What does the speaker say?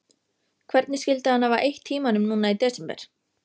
Hann kemst ekki til botns í þessu.